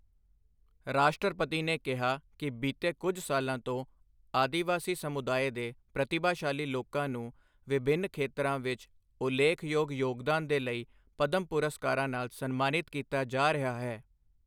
ਰਾਸ਼ਟਰਪਤੀ ਨੇ ਕਿਹਾ ਕਿ ਬੀਤੇ ਕੁਝ ਸਾਲਾਂ ਤੋਂ ਆਦਿਵਾਸੀ ਸਮੁਦਾਇ ਦੇ ਪ੍ਰਤਿਭਾਸ਼ਾਲੀ ਲੋਕਾਂ ਨੂੰ ਵਿਭਿੰਨ ਖੇਤਰਾਂ ਵਿੱਚ ਉਲੇਖਯੋਗ ਯੋਗਦਾਨ ਦੇ ਲਈ ਪਦਮ ਪੁਰਸਕਾਰਾਂ ਨਾਲ ਸਨਮਾਨਿਤ ਕੀਤਾ ਜਾ ਰਿਹਾ ਹੈ।